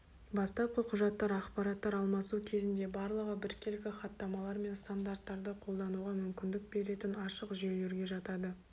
бастапқы құжаттар ақпараттар алмасу кезінде барлығы біркелкі хаттамалар мен стандарттарды қолдануға мүмкіндік беретін ашық жүйелерге жатады